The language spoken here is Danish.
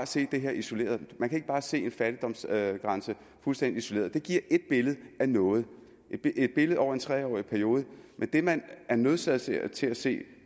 se det her isoleret man kan ikke bare se en fattigdomsgrænse fuldstændig isoleret det giver ét billede af noget et billede over en tre årig periode men det man er nødsaget til at til at se